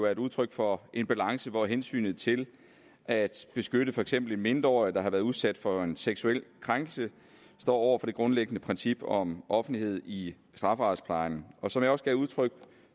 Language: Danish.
et udtryk for en balance hvor hensynet til at beskytte for eksempel en mindreårig der har været udsat for en seksuel krænkelse står over for det grundlæggende princip om offentlighed i strafferetsplejen og som jeg også gav udtryk